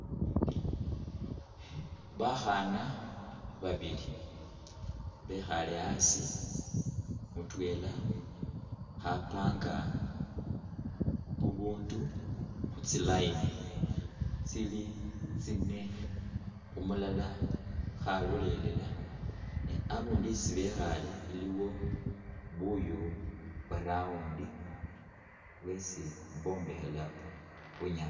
Bakhaana babili bekhaale asi mutwela khapanga bubundu khu tsi'line tsili tsine, umulala khalolelela ne abundu isi bekhaale iliwo buuyu bwa round bwesi bombekhela bunyaasi.